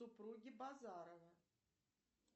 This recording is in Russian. супруги базарова